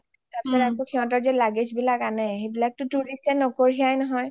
তাৰ পিছত যে তোমাৰ luggage বিলাক আনে সেইবিলাক tourist য়ে নকঢ়িয়াই নহয়